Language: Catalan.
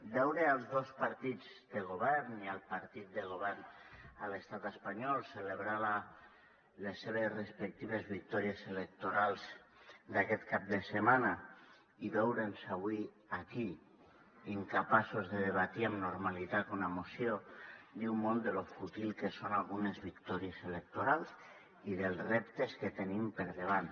veure els dos partits de govern i el partit de govern a l’estat espanyol celebrar les seves respectives victòries electorals d’aquest cap de setmana i veure’ns avui aquí incapaços de debatre amb normalitat una moció diu molt de lo fútils que són algunes victòries electorals i dels reptes que tenim al davant